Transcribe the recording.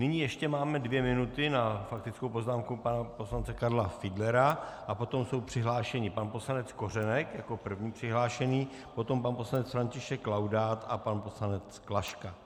Nyní ještě máme dvě minuty na faktickou poznámku pana poslance Karla Fiedlera a potom jsou přihlášeni pan poslanec Kořenek jako první přihlášený, potom pan poslanec František Laudát a pan poslanec Klaška.